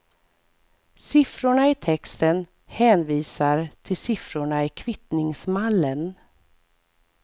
Siffrorna i texten hänvisar till siffrorna i kvittningsmallen.